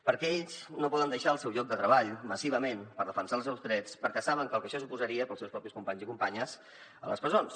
perquè ells no poden deixar el seu lloc de treball massivament per defensar els seus drets perquè saben el que això suposaria per als seus propis companys i companyes a les presons